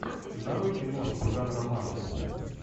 нарой киношку жанра манга